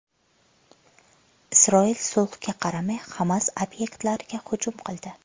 Isroil sulhga qaramay Hamas obyektlariga hujum qildi.